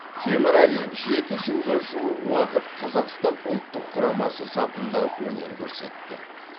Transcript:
темірәлиев жеті жылға жуық уақыт қазақстан ұлттық құрамасы сапында өнер көрсетті